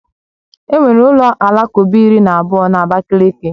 Enwere ụlọ alakụba iri na abụọ na Abakaliki